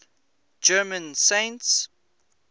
german saints